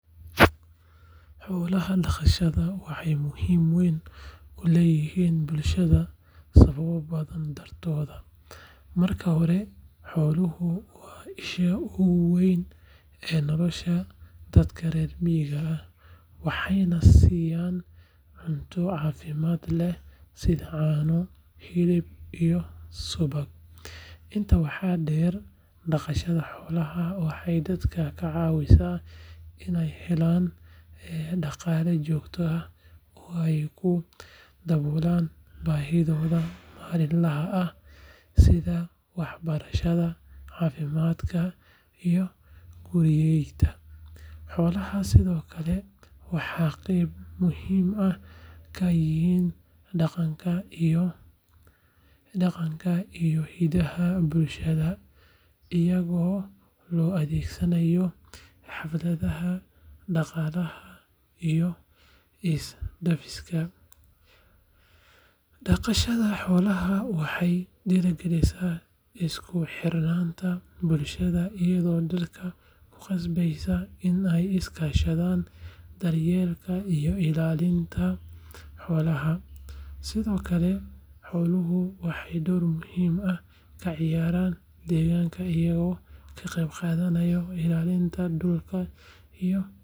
Xoolaha dhaqashada waxay muhiimad weyn u leeyihiin bulshada sababo badan dartood. Marka hore, xooluhu waa isha ugu weyn ee nolosha dadka reer miyiga ah, waxayna siinayaan cunto caafimaad leh sida caano, hilib, iyo subag. Intaa waxaa dheer, dhaqashada xoolaha waxay dadka ka caawisaa inay helaan dhaqaale joogto ah oo ay ku daboolaan baahiyahooda maalinlaha ah sida waxbarashada, caafimaadka, iyo guriyeynta. Xoolaha sidoo kale waxay qeyb muhiim ah ka yihiin dhaqanka iyo hidaha bulshada, iyagoo loo adeegsado xafladaha, dhaqaalaha, iyo isdhaafsiga. Dhaqashada xoolaha waxay dhiirrigelisaa isku xirnaanta bulshada, iyadoo dadka ku qasbaya inay iska kaashadaan daryeelka iyo ilaalinta xoolahooda. Sidoo kale, xooluhu waxay door muhiim ah ka ciyaaraan deegaanka iyagoo ka qayb qaata ilaalinta dhulka iyo.